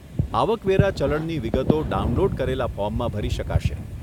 આવક વેરા ચલણની વિગતો ડાઉનલોડ કરેલાં ફોર્મમાં ભરી શકાશે.